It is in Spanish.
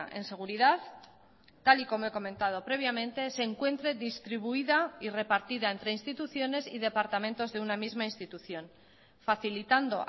en seguridad tal y como he comentado previamente se encuentre distribuida y repartida entre instituciones y departamentos de una misma institución facilitando